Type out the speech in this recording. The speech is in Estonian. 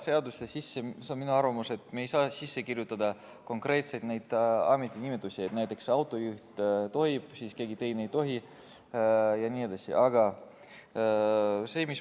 See on minu arvamus, et me ei saa seadusesse kirjutada konkreetseid ametinimetusi, et näiteks autojuht tohib, keegi teine ei tohi jne.